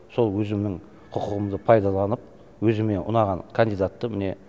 сол өзімнің құқығымды пайдаланып өзіме ұнаған кандидатты міне